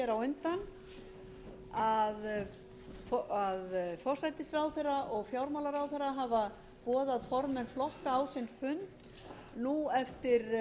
á undan að forsætisráðherra og fjármálaráðherra hafa boðað formenn flokka á sinn fund eftir